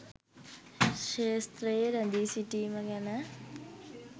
ක්ෂේත්‍රයේ රැඳී සිටීම ගැන.